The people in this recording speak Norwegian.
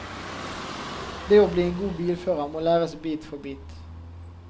Det å bli en god bilfører må læres bit for bit.